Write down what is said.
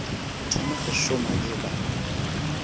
thoma go šoma e ba